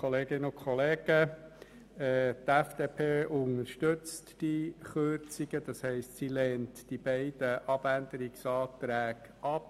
Die FDP unterstützt diese Kürzungen, und sie lehnt die beiden Abänderungsanträge ab.